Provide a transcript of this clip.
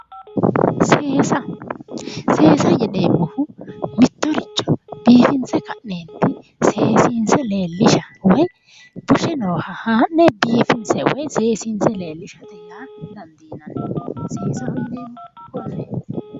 Seesa seesa yineemohu mitto richo biifinse ka'neeniti seesiinose leelishsha woyi bushe nooha haa'ne bifinisse woyi seesinise leelishate yaa dandiinanni seesaho yineemohu koneeti